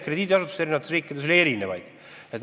Krediidiasutusi on ju eri riikides palju.